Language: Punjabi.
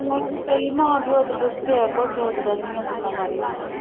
ਮਾਂ ਪਿਓ ਤੇ ਬਥੇਰਾ ਕੁਝ ਸੋਚਦੇ ਧੀਆਂ ਪੁੱਤਾਂ ਬਾਰੇ।